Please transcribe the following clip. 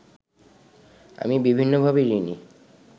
আমি বিভিন্নভাবে ঋণী